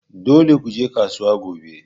Dole ku je kasuwa gobe!